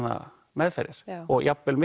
meðferðir og jafn vel